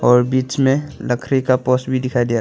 और बीच में लकड़ी का पोस्ट भी दिखाई दिखाई दे--